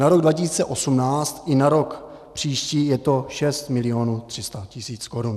Na rok 2018 i na rok příští je to 6 milionů 300 tisíc korun.